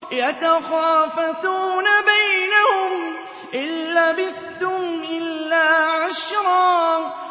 يَتَخَافَتُونَ بَيْنَهُمْ إِن لَّبِثْتُمْ إِلَّا عَشْرًا